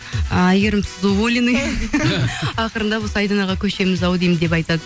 ы әйгерім сіз уволены ақырындап осы айданаға көшеміз ау деймін деп айтады